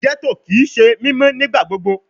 Ghetto kii ṣe mimọ nigbagbogbo